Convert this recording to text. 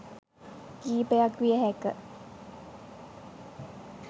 කීපයක් විය හැක